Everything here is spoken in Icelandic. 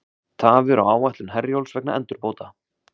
Tafir á áætlun Herjólfs vegna endurbóta